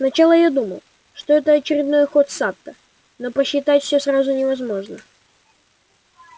сначала я думал что это очередной ход сатта но просчитать всеё сразу невозможно